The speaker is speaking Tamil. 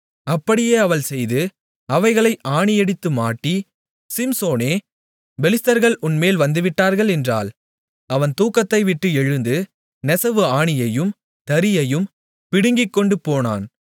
அப்படியே அவள் செய்து அவைகளை ஆணியடித்து மாட்டி சிம்சோனே பெலிஸ்தர்கள் உன்மேல் வந்துவிட்டார்கள் என்றாள் அவன் தூக்கத்தைவிட்டு எழுந்து நெசவு ஆணியையும் தறியையும் பிடுங்கிக்கொண்டு போனான்